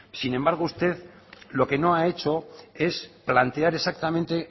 sin embargo usted lo que no ha hecho es plantear exactamente